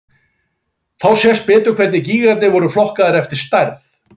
Þá sést betur hvernig gígarnir eru flokkaðir eftir stærð.